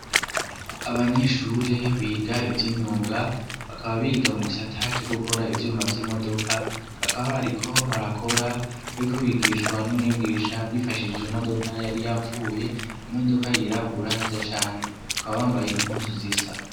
Abanyeshuri biga ivyimyuga bakaba biga mu gisata co gukora ivyuma vy'imodoka bakaba bariko barakora bariko bigishwa n'umwigisha bifashishije imodoka yari yapfuye, imodoka yirabura nziza cane bakaba bambaye impuzu zisa.